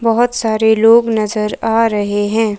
बहुत सारे लोग नजर आ रहे हैं।